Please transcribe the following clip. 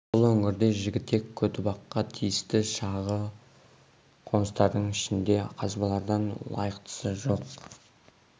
бұл өңірде жігітек көтібаққа тиісті шағын қоныстардың ішінде осы қазбаладан лайықтысы жоқ